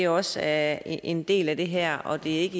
også er en del af det her og at det ikke